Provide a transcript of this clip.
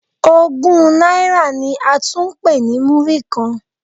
Ogún náírà ni a tún ń pè ní Múrí-kan.